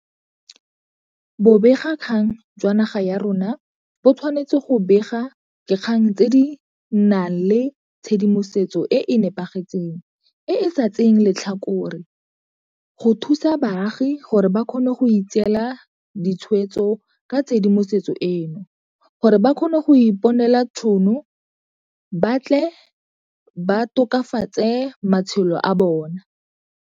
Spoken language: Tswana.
Bobegakgang jwa naga ya rona bo tshwanetse go bega dikgang tse di nang le tshedimosetso e e nepagetseng e e sa tseyeng letlhakore, go thusa baagi gore ba kgone go itseela ditshwetso ka tshedimosetso eno, gore ba kgone go iponela ditšhono ba tle ba tokafatse matshelo a bona.